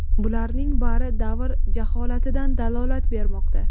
Bularning bari davr jaholatidan dalolat bermoqda.